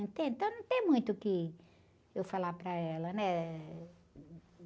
Entende? Então, não tem muito o que eu falar para ela, né?